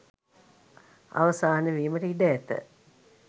අවසාන වීමට ඉඩ ඇත